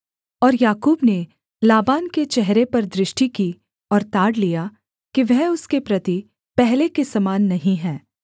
और याकूब ने लाबान के चेहरे पर दृष्टि की और ताड़ लिया कि वह उसके प्रति पहले के समान नहीं है